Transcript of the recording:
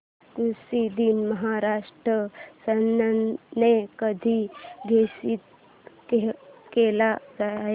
कृषि दिन महाराष्ट्र शासनाने कधी घोषित केला आहे